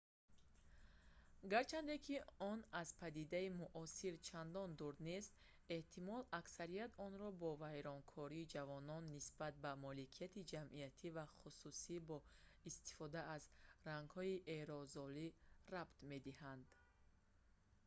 гарчанде ки он аз падидаи муосир чандон дур нест эҳтимол аксарият онро бо вайронкории ҷавонон нисбат ба моликияти ҷамъиятӣ ва хусусӣ бо истифода аз рангҳои аэрозолӣ рабт медиҳанд